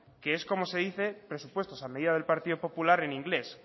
que es como se dice presupuestos a medida del partido popular en inglés